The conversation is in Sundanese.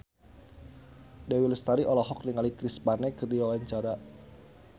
Dewi Lestari olohok ningali Chris Pane keur diwawancara